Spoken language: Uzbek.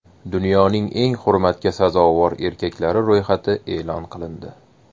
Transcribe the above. Dunyoning eng hurmatga sazovor erkaklari ro‘yxati e’lon qilindi.